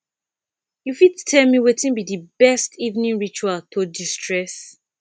you fit tell me wetin be di best evening ritual to destress